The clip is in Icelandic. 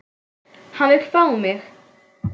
Hann vill fá mig.